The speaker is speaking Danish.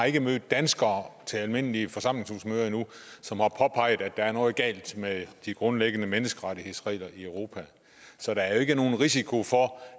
ikke mødt danskere til almindelige forsamlingshusmøder som har påpeget at der er noget galt med de grundlæggende menneskerettighedsregler i europa så der er jo ikke nogen risiko for